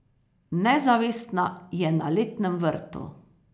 Nezavestna je na letnem vrtu.